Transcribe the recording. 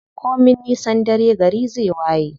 Komin nisan dare gari zai waye.